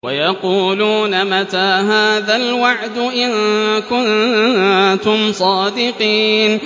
وَيَقُولُونَ مَتَىٰ هَٰذَا الْوَعْدُ إِن كُنتُمْ صَادِقِينَ